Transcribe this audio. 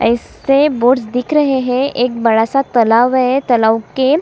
ऐसे बोर्ड्स दिख रहे है एक बड़ा- सा तालाब है तालाब के --